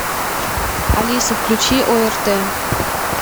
алиса включи орт